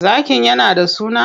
Zakin yana da suna?